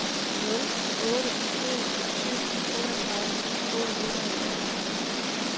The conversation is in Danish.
nul otte en syv otteogtredive otte hundrede og femogtredive